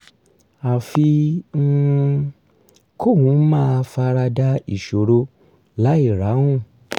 àfi um kóun máa fara da ìṣòro láìráhùn